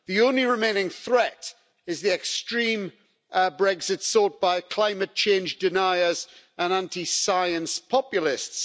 The only remaining threat is the extreme Brexit sought by climate change deniers and anti science populists.